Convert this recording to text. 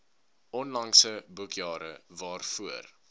onlangse boekjare waarvoor